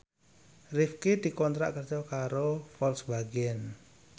Rifqi dikontrak kerja karo Volkswagen